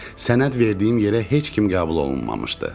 Sənəd verdiyim yerə heç kim qəbul olunmamışdı.